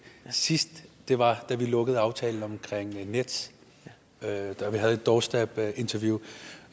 sidst var da vi lukkede aftalen om nets og havde et doorstepinterview